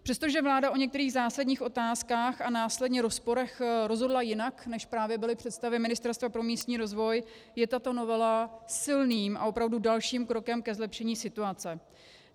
Přestože vláda o některých zásadních otázkách a následně rozporech rozhodla jinak, než právě byly představy Ministerstva pro místní rozvoj, je tato novela silným a opravdu dalším krokem ke zlepšení situace.